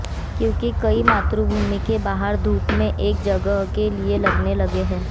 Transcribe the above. क्योंकि कई मातृभूमि के बाहर धूप में एक जगह के लिए लगने लगे हैं